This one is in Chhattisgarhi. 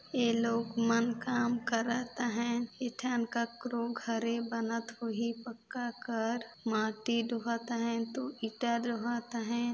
ये लोग मन काम करत है इथे केकरो घरे बनत हो ही पक्का कर माटी दोहत है ईटा दोहत है।